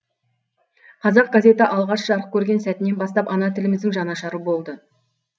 қазақ газеті алғаш жарық көрген сәтінен бастап ана тіліміздің жанашыры болды